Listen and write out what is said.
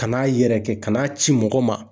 Ka n'a yɛrɛkɛ, ka n'a ci mɔgɔ ma.